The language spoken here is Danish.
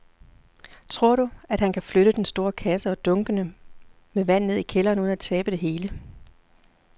Tror du, at han kan flytte den store kasse og dunkene med vand ned i kælderen uden at tabe det hele?